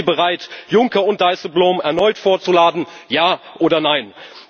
Sind Sie bereit, Juncker und Dijsselbloem erneut vorzuladen Ja oder Nein?